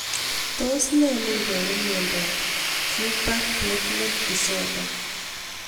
Tos nee neiparu miondo Quebec platelet disorder